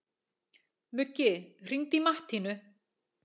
Muggi, hringdu í Mattínu.